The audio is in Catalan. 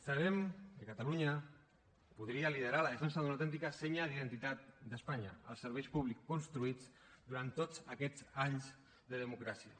sabem que catalunya podria liderar la defensa d’una autèntica senya d’identitat d’espanya els serveis públics construïts durant tots aquests anys de democràcia